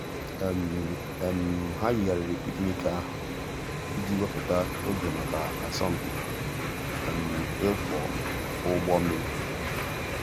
hà yìghàrìrì picnic àhụ̀ íjì wépụ̀tà ògè mǎká àsọ̀mpị íkwọ̀ ǔgbọ̀ mmìrì.